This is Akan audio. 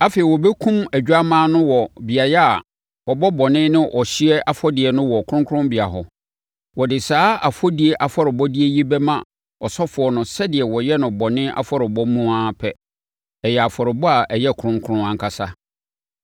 Afei, wɔbɛkum odwammaa no wɔ beaeɛ a wɔbɔ bɔne ne ɔhyeɛ afɔdeɛ no wɔ kronkronbea hɔ. Wɔde saa afɔdie afɔrebɔdeɛ yi bɛma ɔsɔfoɔ no sɛdeɛ wɔyɛ no bɔne afɔrebɔ mu no ara pɛ. Ɛyɛ afɔrebɔ a ɛyɛ kronkron ankasa.